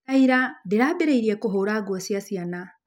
Ta ira, ndĩrambĩrĩirie na kũhũra nguo cia ciana.